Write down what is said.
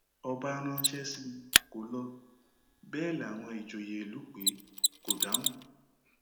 ọba ránṣẹ sí i kó lọ bẹẹ láwọn ìjòyè ìlú pé ẹ kò dáhùn